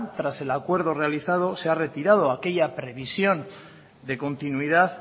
tras el acuerdo realizado se ha retirado aquella previsión de continuidad